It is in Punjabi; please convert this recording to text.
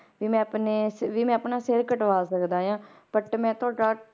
ਵੀ ਮੈਂ ਆਪਣੇ ਵੀ ਮੈਂ ਆਪਣਾ ਸਿਰ ਕਟਵਾ ਸਕਦਾ ਆਂ but ਮੈਂ ਤੁਹਾਡਾ